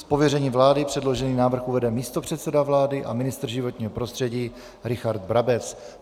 Z pověření vlády předložený návrh uvede místopředseda vlády a ministr životního prostředí Richard Brabec.